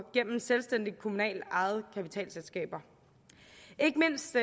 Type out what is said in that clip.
gennem selvstændige kommunalt ejede kapitalselskaber ikke mindst